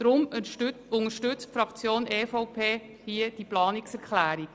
Deshalb unterstützt die Fraktion EVP diesen Antrag.